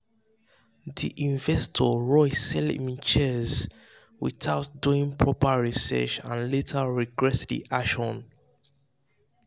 the investor rush sell him shares without doing proper research and later regret the action.